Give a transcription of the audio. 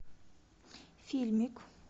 фильмик